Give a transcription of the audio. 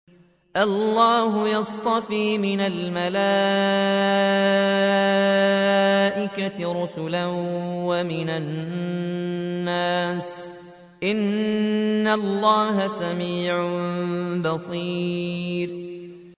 اللَّهُ يَصْطَفِي مِنَ الْمَلَائِكَةِ رُسُلًا وَمِنَ النَّاسِ ۚ إِنَّ اللَّهَ سَمِيعٌ بَصِيرٌ